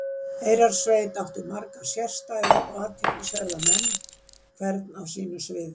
Eyrarsveit átti marga sérstæða og athyglisverða menn, hvern á sínu sviði.